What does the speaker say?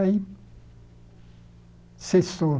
Aí cessou.